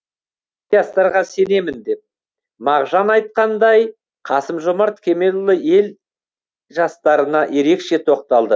жастарға сенемін деп мағжан айтқандай қасым жомарт кемелұлы ел жастарына ерекше тоқталды